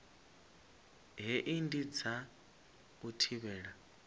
hei ndi dza u thivhela